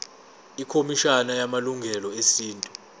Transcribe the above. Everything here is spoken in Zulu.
ikhomishana yamalungelo esintu